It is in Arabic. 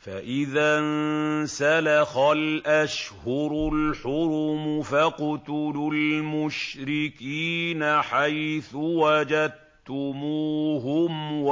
فَإِذَا انسَلَخَ الْأَشْهُرُ الْحُرُمُ فَاقْتُلُوا الْمُشْرِكِينَ حَيْثُ وَجَدتُّمُوهُمْ